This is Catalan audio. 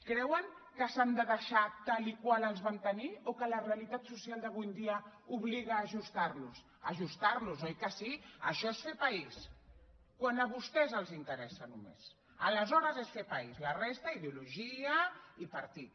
creuen que s’han de deixar tal qual els vam tenir o que la realitat social d’avui en dia obliga a ajustarlos a ajustarlos oi que sí això és fer país quan a vostès els interessa només aleshores és fer país la resta ideologia i partit